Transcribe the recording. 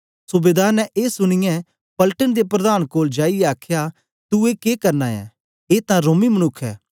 सूबेदार ने ए सुनीयै पलटन दे प्रधान कोल जाईयै आखया तू ए के करना ऐ ए तां रोमी मनुक्ख ऐ